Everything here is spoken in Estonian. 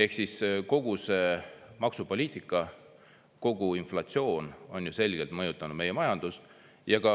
" Ehk siis kogu see maksupoliitika, kogu inflatsioon on ju selgelt mõjutanud meie majandust ja ka